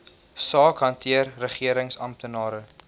saak hanteer regeringsamptenare